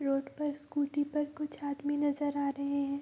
Road पर scooty पर कुछ आदमी नजर आ रहें हैं।